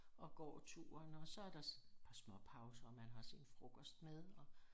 Og går turen og så der så par småpauser og man har sin frokost med